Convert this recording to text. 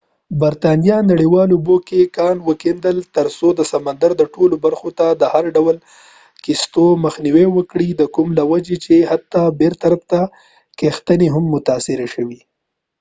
برتانیا نړیوالو اوبو کې کان وکیندل تر څو د سمندر ټولو برخو ته د هر ډول کښتیو مخنیوی وکړي د کوم له وجې چې حتی بېطرفه کښتنۍ هم متاثره شوې